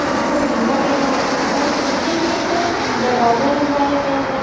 इसको घेरा गया है और इसपे एक दरवाजा लगवाया गया है।